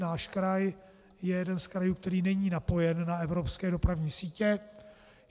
Náš kraj je jeden z krajů, který není napojen na evropské dopravní sítě.